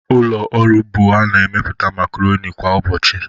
Ụlọ ọrụ Bua na-emepụta macaroni kwa ụbọchị